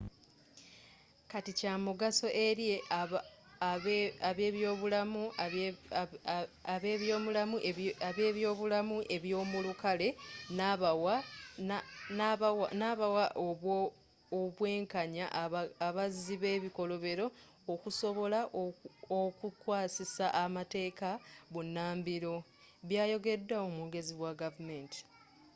kati kyamugaso eri abebyobulamu ebyomulukale nabawa obwenkanya abazzi bebikolobero okusobola okukwasisa amateeka bunambiro byayogedwa omwogezi wa gavumenti.